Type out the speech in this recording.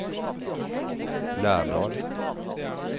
Lærdal